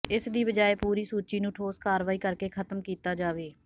ਇਸ ਦੀ ਬਜਾਏ ਪੂਰੀ ਸੂਚੀ ਨੂੰ ਠੋਸ ਕਾਰਵਾਈ ਕਰਕੇ ਖਤਮ ਕੀਤਾ ਜਾਵੇ